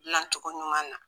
Dilancogo ɲuman na